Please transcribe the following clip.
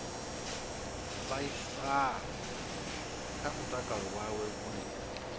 vhaisala kha mutakalo wawe hune